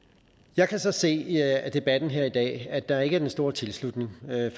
jeg kan så se af debatten her i dag at der ikke er den store tilslutning